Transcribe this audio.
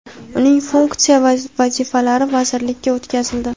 uning funksiya va vazifalari vazirlikka o‘tkazildi.